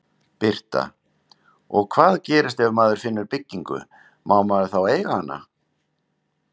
Birta: Og hvað gerist ef maður finnur byggingu, má maður þá eiga hana?